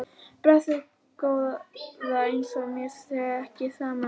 Blessuð góða. eins og mér sé ekki sama um það!